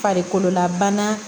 Farikololabana